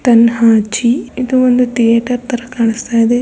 ತಾನ್ಹಜಿ ಇದು ಒಂದು ಥಿಯೇಟರ್ ತರ ಕಾಣಿಸ್ತಾ ಇದೆ.